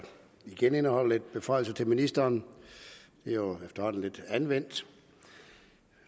igen indeholder lidt beføjelser til ministeren det er jo efterhånden lidt anvendt